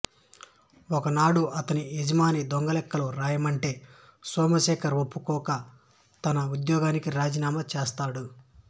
ఒకనాడు ఆతని యజమాని దొంగలెక్కలు వ్రాయమంటే సోమశేఖర్ ఒప్పుకోక తన వుద్యోగానికి రాజీనామా చేస్తాడు